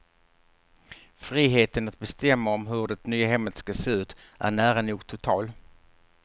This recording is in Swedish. Friheten att bestämma om hur det nya hemmet ska se ut är nära nog total.